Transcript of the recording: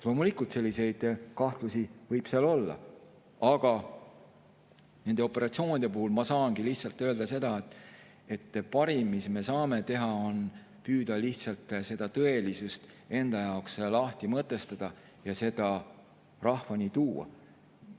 Loomulikult, selliseid kahtlusi võib seal olla, aga nende operatsioonide puhul ma saan lihtsalt öelda seda, et parim, mis me saame teha, on püüda lihtsalt tõelisust enda jaoks lahti mõtestada ja seda rahvani tuua.